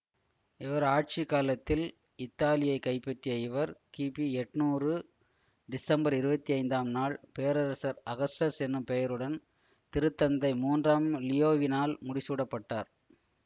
இவர் ஆட்சி காலத்தில் இத்தாலியைக் கைப்பற்றிய இவர் கிபி எட்ணூறு டிசம்பர் இருபத்தி ஐந்தாம் நாள் பேரரசர் அகஸ்டஸ் என்னும் பெயருடன் திருத்தந்தை மூன்றாம் லியோவினால் முடிசூட்டப்பட்டார்